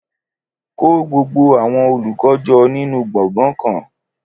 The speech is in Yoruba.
Kó gbogbo àwọn olùkọ́ jọ nínú gbọ̀ngàn kan